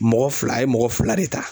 Mɔgɔ fila a ye mɔgɔ fila de ta.